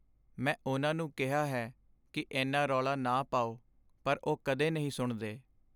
ਮੈਂ ਉਨ੍ਹਾਂ ਨੂੰ ਕਿਹਾ ਹੈ ਕਿ ਇੰਨਾ ਰੌਲਾ ਨਾ ਪਾਓ, ਪਰ ਉਹ ਕਦੇ ਨਹੀਂ ਸੁਣਦੇ।